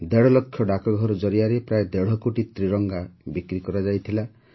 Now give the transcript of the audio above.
ଦେଢ଼ ଲକ୍ଷ ଡାକଘର ଜରିଆରେ ପ୍ରାୟ ଦେଢ଼ କୋଟି ତ୍ରିରଙ୍ଗା ବିକ୍ରି କରାଯାଇଥିଲା